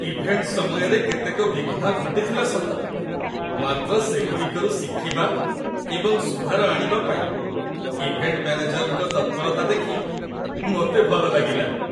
Event ସମୟରେ କେତେକ ବିଘ୍ନ ଘଟିଥିଲା ସତ, ମାତ୍ର ସେଗୁଡ଼ିକରୁ ଶିଖିବା ଏବଂ ସୁଧାର ଆଣିବା ପାଇଁ ଇଭେଣ୍ଟ ମ୍ୟାନେଜରଙ୍କ ତତ୍ପରତା ଦେଖି ମୋତେ ଭଲ ଲାଗିଲା।